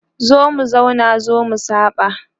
zo mu zauna zo mu saba